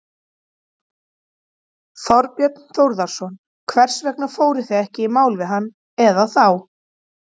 Þorbjörn Þórðarson: Hvers vegna fóruð þið ekki í mál við hann eða þá?